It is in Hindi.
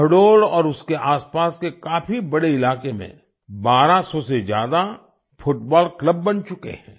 शहडोल और उसके आसपास के काफ़ी बड़े इलाके में 1200 से ज्यादा फुटबॉल क्लब बन चुके हैं